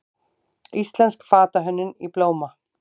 Íslensk fatahönnun í blóma